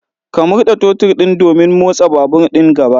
Ka murda totur din domin motsa babur din gaba